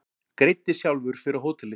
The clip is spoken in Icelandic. Greiddi sjálfur fyrir hótelið